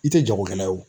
I tɛ jagokɛla ye o